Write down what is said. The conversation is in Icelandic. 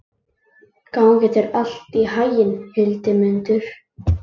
Gangi þér allt í haginn, Hildimundur.